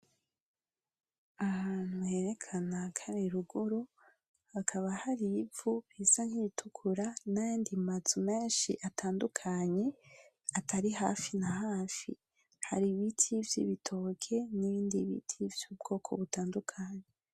Ahantu herekana kari ruguru hakaba har'ivu risa nkiritukura nayandi mazu menshi atandukanye atari hafi na hafi, hari ibiti vy'ibitoki, nibindi biti vyubwoko butandukanye.